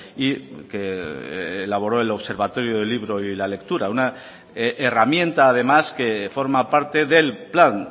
y que elaboró el observatorio del libro y la lectura una herramienta además que forma parte del plan